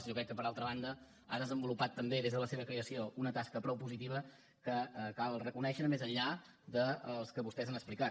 jo crec que per altra banda ha desenvolupat també des de la seva creació una tasca prou positiva que cal reconèixer més enllà del que vostès han explicat